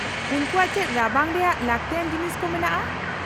-ᱩᱱᱠᱩᱣᱟᱜ ᱪᱮᱫ ᱨᱟᱵᱟᱝ ᱨᱮᱭᱟᱜ ᱞᱟᱹᱠᱛᱤᱭᱟᱱ ᱡᱤᱱᱤᱥ ᱠᱚ ᱢᱮᱱᱟᱜᱼᱟ ?